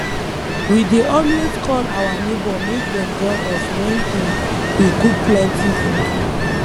we dey always call our neighbour make dem join us when um we cook plenty food